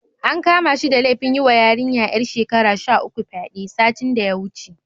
An kama shi da laifin yiwa yarinya ƴar shekara sha uku fyaɗe, satin da ya wuce.